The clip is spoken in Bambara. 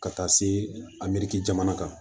Ka taa se a jamana kan